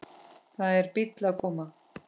Það er bíll að koma.